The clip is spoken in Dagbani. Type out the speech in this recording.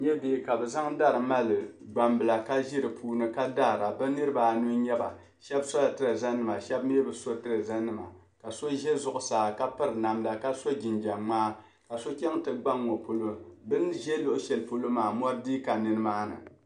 N nya bihi ka bɛ zaŋ dari mali gbambila ka ʒi di puuni ka daara bɛ niriba anu n-nyɛ ba 'Shɛba sɔla tireezanima shɛba mi bi so tireezanima ka so za zuɣusaa ka piri namda ka so jinjam ŋmaa ka so chaŋ nti gba ŋ-ŋɔ polo. Bɛ ni za luɣishɛli polo maa mɔri dii ka nimaani.